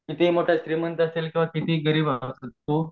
किती मोठ श्रीमंत असील तर आणि कितीही गरीब असील तर